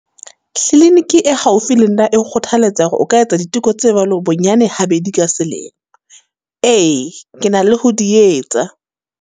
Kliniki e haufi le nna e nkgothaletsa hore o ka etsa diteko tse jwalo, bonyane ha bedi ka selemo. Ee, ke na le ho di etsa.